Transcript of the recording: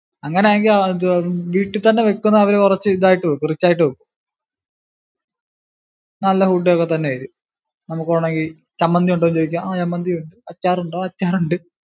അങ്ങനാണെകിൽ വീട്ടിൽ തന്നെ വയ്കുന്നെ അവര് കുറച്ചു ഇതായിട്ടു വയ്ക്കും rich ആയിട്ടു വയ്ക്കും. നല്ല food ഒക്കെ തന്നെയായിരിക്കും. നമുക്ക് വേണോങ്കി ചമ്മന്തി ഉണ്ടോന്നു ചോദിക്കാം ചമ്മന്തി ഉണ്ട്, അച്ചാർ ഉണ്ടോ? അച്ചാർ ഉണ്ട്.